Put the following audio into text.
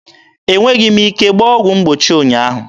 E nweghị m ike gbaa ọgwụ mgbochi ụnyaahụ.